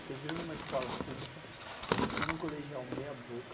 Eu estou vivendo em uma escola pública, fiz um colegial meia boca,